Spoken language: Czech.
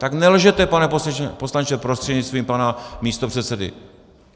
Tak nelžete, pane poslanče prostřednictvím pana místopředsedy!